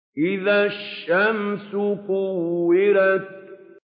إِذَا الشَّمْسُ كُوِّرَتْ